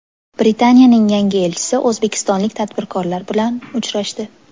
Britaniyaning yangi elchisi o‘zbekistonlik tadbirkorlar bilan uchrashdi.